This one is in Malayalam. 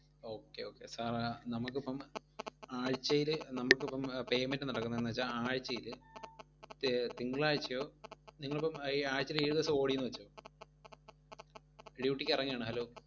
okay okay, sir ഏ നമ്മക്കിപ്പം ആഴ്ചയില് നമ്മക്കിപ്പം payment നടക്കുന്നെന്നുവെച്ചാൽ ആഴ്ചയില് തി~ തിങ്കളാഴ്ചയോ, നിങ്ങളിപ്പം ഈ ആഴ്ചയില് ഏഴു ദിവസം ഓടീന്നുവെച്ചോ duty ക്ക് ഇറങ്ങയാണ്, hello